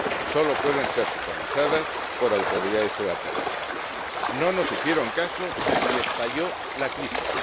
Solo pueden ser supervisadas por autoridades europeas. No nos hicieron caso y estalló la crisis.